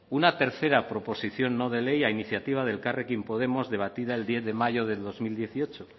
una tercera proposición no de ley a iniciativa de elkarrekin podemos debatida el diez de mayo del dos mil dieciocho